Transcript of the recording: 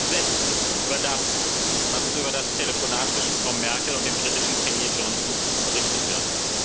Ich bin entsetzt über das, was über das Telefonat zwischen Frau Merkel und dem britischen Premier Johnson berichtet wird.